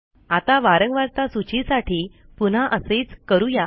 आता वारंवारता सूचीसाठी पुन्हा असेच करू या